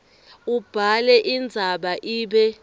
ubhale indzaba ibe